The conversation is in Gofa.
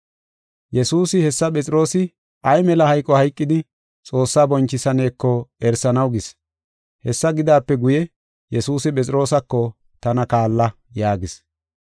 Yesuusi hessa Phexroosi ay mela hayqo hayqidi, Xoossaa bonchisaneeko erisanaw gis. Hessa gidaape guye, Yesuusi Phexroosako, “Tana kaalla” yaagis.